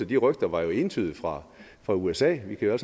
de rygter var jo entydigt fra fra usa vi kan jo